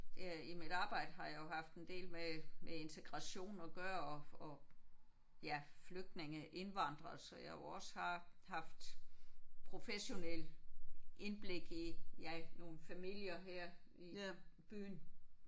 Det er i mit arbejde har jeg jo haft en del med med integration at gøre og og ja flygtninge indvandrere så jeg jo også har haft professionel indblik i ja nogle familier her i byen